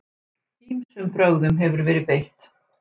Ýmsum brögðum hefur verið beitt.